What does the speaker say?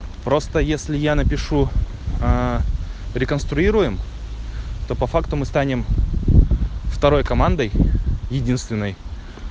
просто если я напишу реконструируем то по факту мы станем второй командой единственной